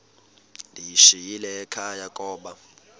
ndiyishiyile ekhaya koba